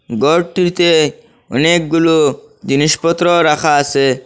ঘরটিতে অনেকগুলো জিনিসপত্র রাখা আসে।